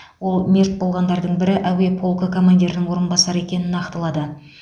ол мерт болғандардың бірі әуе полкі командирінің орынбасары екенін нақтылады